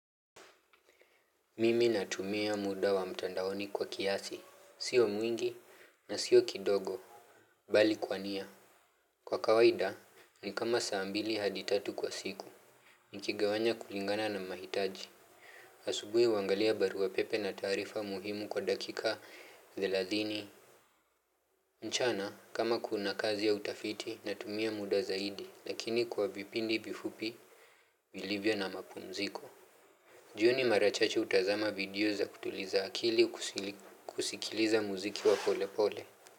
Mimi natumia muda wa mtandaoni kwa kiasi, sio mwingi na sio kidogo, bali kwa nia. Kwa kawaida, ni kama saa mbili hadi tatu kwa siku, nikigawanya kulingana na mahitaji. Asubuhi wangalia barua pepe na taarifa muhimu kwa dakika thelathini. Mchana, kama kuna kazi ya utafiti, natumia muda zaidi, lakini kwa vipindi vifupi, vilivyo na mapumziko. Jioni mara chache hutazama video za kutuliza akili kusikiliza muziki wa pole pole.